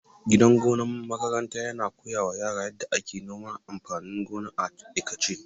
Gidan gona na makaranta yana koya wa yara yadda ake noman amfanin gona a aikace.